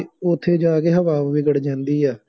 ਉੱਥੇ ਜਾ ਕੇ ਹਵਾ ਵਿਗੜ ਜਾਂਦੀ ਆ